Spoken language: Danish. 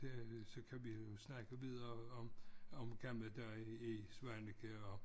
Det så kan vi jo snakke videre om om gamle dage i Svaneke og